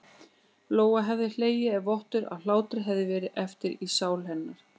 Lóa hefði hlegið ef vottur af hlátri hefði verið eftir í sál hennar.